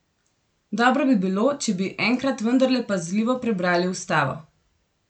Dobro bi bilo, če bi enkrat vendarle pazljivo prebrali ustavo.